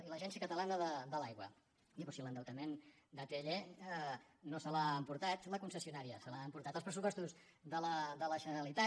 i l’agència catalana de l’aigua però si l’endeutament d’atll no se l’ha emportat la concessionària se l’han emportat els pressupostos de la generalitat